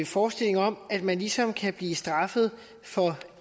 forestilling om at man ligesom kan blive straffet for